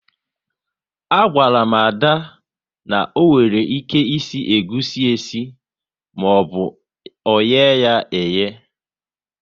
A gwaru m Ada, na onwere ike isi egusi esi maọbụ oye ya eye